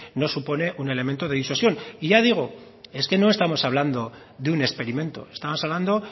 no supone un elemento de disuasión y ya digo es que no estamos hablando de un experimento estamos hablando